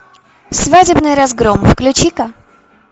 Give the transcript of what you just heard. свадебный разгром включи ка